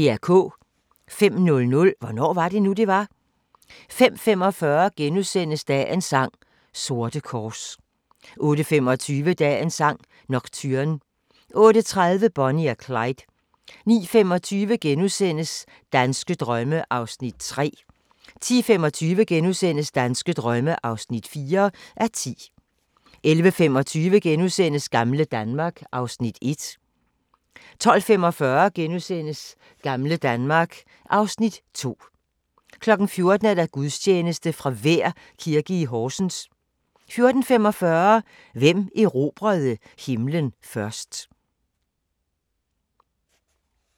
05:00: Hvornår var det nu, det var? 05:45: Dagens sang: Sorte kors * 08:25: Dagens sang: Nocturne 08:30: Bonnie og Clyde 09:25: Danske drømme (3:10)* 10:25: Danske drømme (4:10)* 11:25: Gamle Danmark (Afs. 1)* 12:45: Gamle Danmark (Afs. 2)* 14:00: Gudstjeneste fra Vær Kirke, Horsens 14:45: Hvem erobrede himlen først?